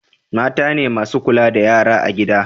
mata ne masu kula da yara a gida